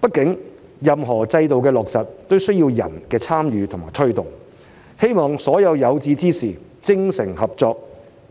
畢竟，任何制度的落實也需要人的參與和推動，希望所有有志之士精誠合作，